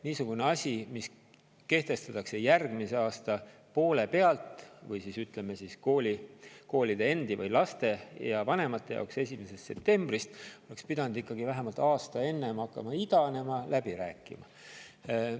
Niisugune asi, mis kehtestatakse järgmise aasta poole pealt või koolide endi, laste ja vanemate jaoks 1. septembrist, oleks pidanud ikkagi vähemalt aasta enne hakkama idanema, läbi räägitama.